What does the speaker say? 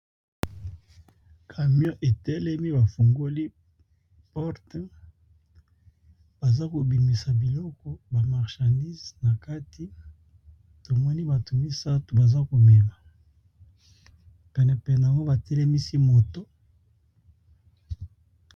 Camion etelemi bafungoli porte baza kobimisa biloko, bamarchandise na kati tomoni batu misatu baza komema penepene nango batelemisi moto.